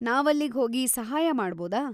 ನಾವಲ್ಲಿಗ್ ಹೋಗಿ ಸಹಾಯ ಮಾಡ್ಬೋದಾ?